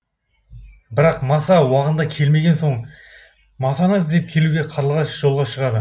бірақ маса уағында келмеген соң масаны іздеп келуге қарлығаш жолға шығады